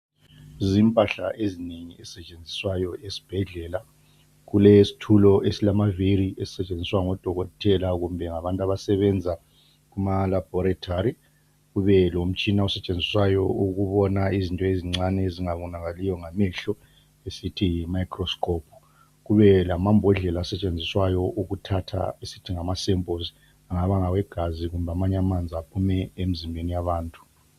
Zimpahla ezinengi ezisetshenziswayo esibhedlela. Kulesitulo ezilamavili esisetshenziswa ngodokotela kumbe ngabantu abasebenza kumalaboratory, kube lomtshina osetshenziswayo ukubona izinto ezincane ezingabonakaliyo ngamehlo esithi yiMicroscope, kube lamambodlela asetshenziswayo ukuthatha esithi ngamaSamples angaba ngawegazi kumbe amanye amanzi aphuma emzimbeni yabantu.